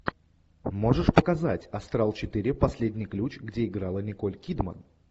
можешь показать астрал четыре последний ключ где играла николь кидман